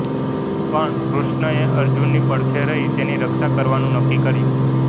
પણ કૃષ્ણએ અર્જુનની પડખે રહી તેની રક્ષા કરવાનું નક્કી કર્યું